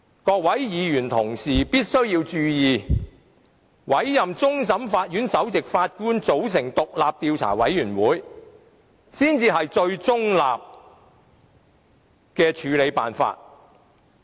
各位議員同事必須注意，委托終審法院首席法官組成獨立的調查委員會才是最中立的處理辦法。